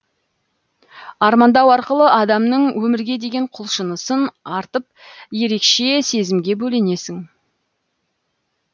армандау арқылы адамның өмірге деген құлшынысын артып ерекше сезімге бөленесің